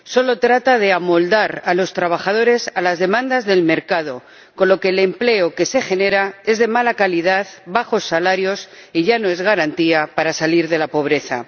Solo trata de amoldar a los trabajadores a las demandas del mercado, con lo que el empleo que se genera es de mala calidad, se perciben bajos salarios y ya no es garantía para salir de la pobreza.